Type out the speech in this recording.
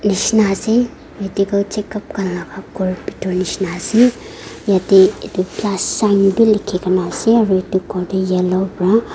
nishi ase medical checkup khan laga ghor bitor nishina ase yeteh likhi kena ase aru itu ghor teh yellow pra --